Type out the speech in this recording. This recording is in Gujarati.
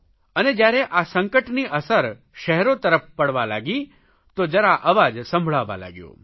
અને જયારે આ સંકટની અસર શહેરો તરફ પડવા લાગી તો જરા અવાજ સંભળાવા લાગ્યો